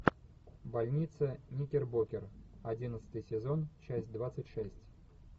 больница никербокер одиннадцатый сезон часть двадцать шесть